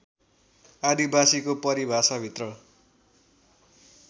आदिवासीको परिभाषाभित्र